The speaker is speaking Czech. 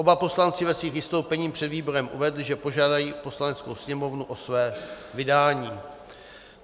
Oba poslanci ve svých vystoupeních před výborem uvedli, že požádají Poslaneckou sněmovnu o své vydání.